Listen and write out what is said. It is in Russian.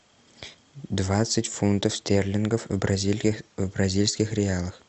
двадцать фунтов стерлингов в бразильских реалах